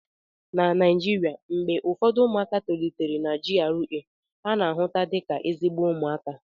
na Naijiria, mgbe ụfọdụ ụmụaka tolitere na GRA ana-ahụta dị ka ezigbo ụmụaka